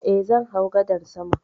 Eh, zan hau gadar saman